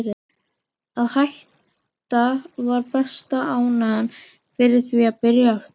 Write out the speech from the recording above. Að hætta var besta ástæðan fyrir því að byrja aftur.